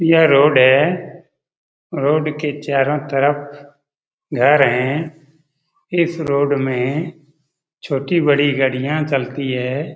यह रोड है। रोड के चारों तरफ घर है। इस रोड में छोटी बड़ी गाड़ियां चलती है।